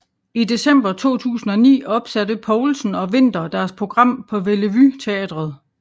I december 2009 opsatte Poulsen og Winther deres program på Bellevue Teatret